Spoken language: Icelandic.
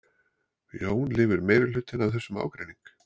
Jón: Lifir meirihlutinn af þennan ágreining?